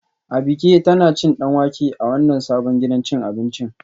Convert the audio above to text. Abike tana cin danwake a wannan sabon gidan cin abinci